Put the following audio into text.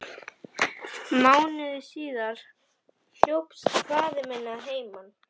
Mánuði síðar hljópst faðir minn að heiman.